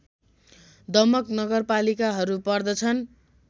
दमक नगरपालिकाहरू पर्दछन्